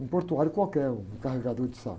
um portuário qualquer, um carregador de saco.